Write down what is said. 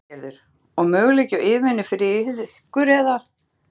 Lillý Valgerður: Og möguleiki á yfirvinnu fyrir ykkur eða?